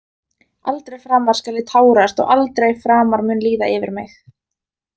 Aldrei framar skal ég tárast og aldrei framar mun líða yfir mig.